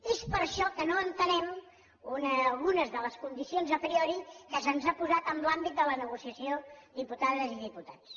és per això que no entenem algunes de les condicions a priori que se’ns han posat en l’àmbit de la negociació diputades i diputats